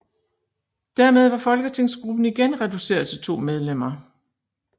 Dermed var folketingsgruppen igen reduceret til to medlemmer